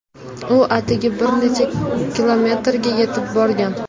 U atigi bir necha kilometrga yetib borgan.